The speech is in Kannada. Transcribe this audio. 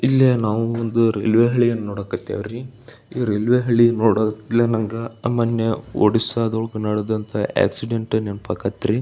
ಇಲ್ಲೆ ನಾವು ಒಂದು ರೈಲ್ವೆ ಹಳಿಯನ್ನ ನೋಡಕ್ ಹತ್ತೀವಿ ರೀ ಈ ರೈಲ್ವೆ ಹಳಿ ನೋಡ ತ್ಲೆ ನಂಗ ಅಮೊನ್ನೆ ಒಡಿಸ್ಸಾ ದೊಳ್ಗ್ ಅನಡೆದಂತಹ ಆಕ್ಸಿಡೆಂಟ್ ನೆನ್ಪಾಕತ್ರಿ.